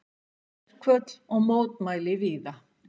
Verkföll og mótmæli víða